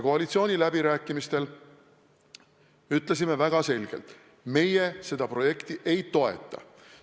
Koalitsiooniläbirääkimistel ütlesime väga selgelt: meie seda projekti ei toeta.